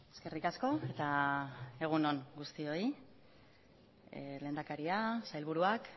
eskerrik asko eta egun on guztioi lehendakaria sailburuak